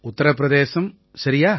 உத்திர பிரதேசம் சரியா